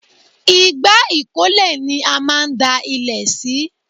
Igbá ìkólẹ̀ ni a máa ń da ilẹ̀ sí